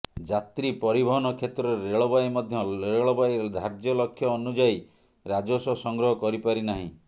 ଯାତ୍ରୀ ପରିବହନ କ୍ଷେତ୍ରରେ ରେଳବାଇ ମଧ୍ୟ ରେଳବାଇ ଧାର୍ଯ୍ୟ ଲକ୍ଷ୍ୟ ଅନୁଯାୟୀ ରାଜସ୍ବ ସଂଗ୍ରହ କରିପାରି ନାହିଁ